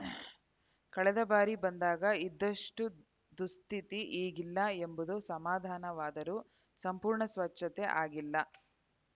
ಕಳೆದ ಬಾರಿ ಬಂದಾಗ ಇದ್ದಷ್ಟುದುಸ್ಥಿತಿ ಈಗಿಲ್ಲ ಎಂಬುದು ಸಮಾಧಾನವಾದರೂ ಸಂಪೂರ್ಣ ಸ್ವಚ್ಛತೆ ಆಗಿಲ್ಲ